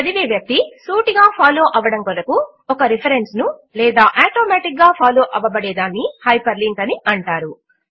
చదివే వ్యక్తి సూటిగా ఫాలో అవ్వడము కొరకు ఒక రిఫరెన్స్ ను లేదా ఆటోమాటిక్ గా ఫాలో అవ్వబడే దానిని హైపర్ లింక్ అంటారు